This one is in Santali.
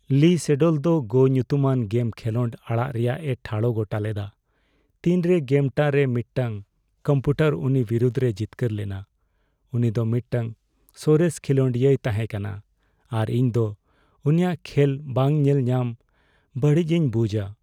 ᱞᱤ ᱥᱮᱰᱚᱞ ᱫᱚ "ᱜᱳ" ᱧᱩᱛᱩᱢᱟᱱ ᱜᱮᱢ ᱠᱷᱮᱞᱳᱰ ᱟᱲᱟᱜ ᱨᱮᱭᱟᱜᱼᱮ ᱴᱷᱟᱲᱚ ᱜᱚᱴᱟᱞᱮᱫᱟ ᱛᱤᱱᱨᱮ ᱜᱮᱢᱴᱟᱜ ᱨᱮ ᱢᱤᱫᱴᱟᱝ ᱠᱚᱢᱯᱤᱭᱩᱴᱟᱨ ᱩᱱᱤ ᱵᱤᱨᱩᱫ ᱨᱮᱭ ᱡᱤᱛᱠᱟᱹᱨ ᱞᱮᱱᱟ ᱾ ᱩᱱᱤ ᱫᱚ ᱢᱤᱫᱴᱟᱝ ᱥᱚᱨᱮᱥ ᱠᱷᱮᱞᱳᱰᱤᱭᱟᱹᱭ ᱛᱟᱦᱮᱠᱟᱱᱟ ᱟᱨ ᱤᱧ ᱫᱚ ᱩᱱᱤᱭᱟᱜ ᱠᱷᱮᱞ ᱵᱟᱝ ᱧᱮᱞ ᱧᱟᱢ ᱵᱟᱲᱤᱡᱤᱧ ᱵᱩᱡᱷᱼᱟ ᱾